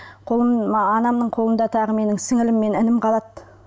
мына анамның қолымда тағы менің сіңлім мен інім қалады